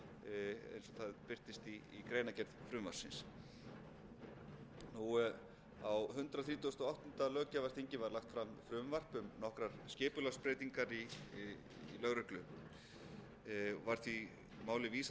það birtist í greinargerð frumvarpsins á hundrað þrítugasta og áttunda löggjafarþingi var lagt fram frumvarp um nokkrar skipulagsbreytingar í lögreglu var því máli vísað